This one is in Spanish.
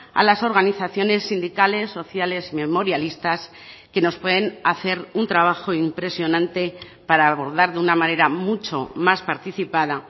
a las organizaciones sindicales sociales memorialistas que nos pueden hacer un trabajo impresionante para abordar de una manera mucho más participada